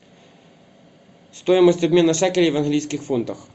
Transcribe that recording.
стоимость обмена шекелей в английских фунтах